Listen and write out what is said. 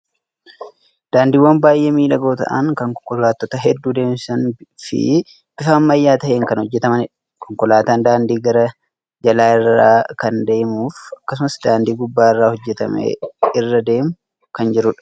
Daandiiwwan baay'ee miidhagoo ta'an, kan konkolaattota hedduu deemsisan fi bifa ammayyaa ta'een kan hojjetamanidha. Konkolaataan dandii gara jalaa irra kan deemuu fi akkasumas daandii gubbaa irratti hojjetame irra deemaa kan jirudha.